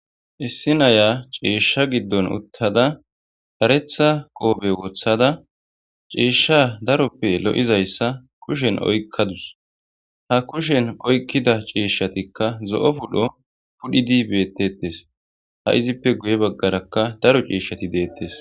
issi naya ceeshsha giddon uttada Haretha qoobe woththada ceeshsha daroppe lo'izayssa kushen oykkadus ha kushen oykkida ceeshshatikka zo'o pudho pudhidi beettettes ha izippe guye baggarakka daro ceeshshati deettes.